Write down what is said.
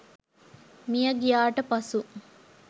මිය ගියාට පසු